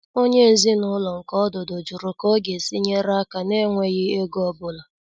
Onyé ezinúlọ̀ nke ọdụ́dụ̀ jụrụ̀ ká ọ̀ ga-èsí nyeré aka nà-ènwèghi égò ọ́búlà.